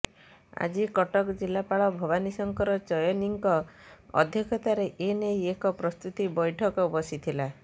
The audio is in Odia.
ଆଜି କଟକ ଜିଲ୍ଲାପାଳ ଭବାନୀ ଶଙ୍କର ଚୟନୀଙ୍କ ଅଧ୍ୟକ୍ଷତାରେ ଏ ନେଇ ଏକ ପ୍ରସ୍ତୁତି ବୈଠକ ବସିଥିଲା